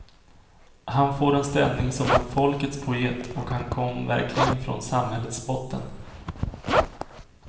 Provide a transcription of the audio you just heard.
Han får en ställning som en folkets poet och han kom verkligen från samhällets botten.